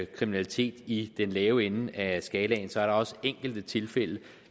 kriminalitet i den lave ende af skalaen så er der også enkelte tilfælde